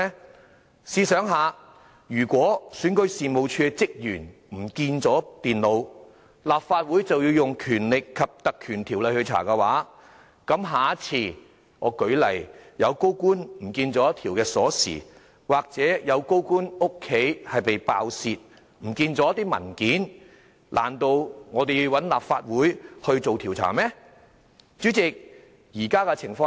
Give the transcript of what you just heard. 大家試想想，如果選舉事務處的職員遺失電腦，立法會便要引用《條例》來調查，那麼下次——舉例來說——如果有高官遺失一條鑰匙，又或有高官家中被爆竊，遺失一些文件，難道立法會又要進行調查嗎？